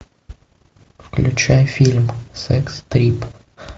включай фильм секс три